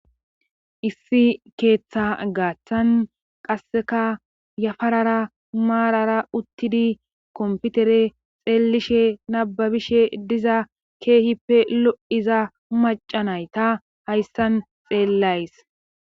issi keeththa gaaththan qasseka yafarara maarara uttidi komputere xeelishe nababishe diza keehippe lo7iza macanay ta hayssan xeellays